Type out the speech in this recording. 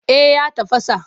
Eh ya tafasa.